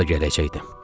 vallah gələcəkdim.